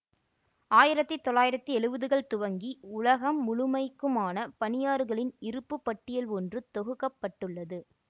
ஆயிரத்தி தொள்ளாயிரத்தி எழுவதுகள் துவங்கி உலகம் முழுமைக்குமான பனியாறுகளின் இருப்பு பட்டியல் ஒன்று தொகுக்க பட்டுள்ளது